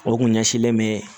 O kun ɲɛsinlen bɛ